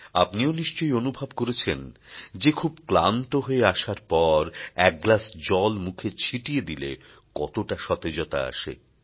আপনিও নিশ্চয়ই অনুভব করেছেন যে খুব ক্লান্ত হয়ে আসার পর এক গ্লাস জল মুখে ছিটিয়ে দিলে কতটা সতেজতা আসে